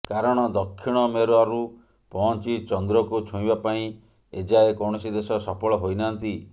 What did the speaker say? କାରଣ ଦକ୍ଷିଣ ମେରରୁ ପହଞ୍ଚି ଚନ୍ଦ୍ରକୁ ଛୁଇଁବା ପାଇଁ ଏଯାଏ କୌଣସି ଦେଶ ସଫଳ ହୋଇନାହାନ୍ତି